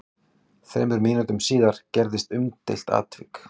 Þremur mínútum síðar gerðist umdeilt atvik.